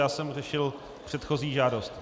Já jsem řešil předchozí žádost.